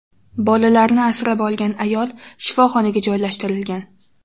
Bolalarni asrab olgan ayol shifoxonaga joylashtirilgan.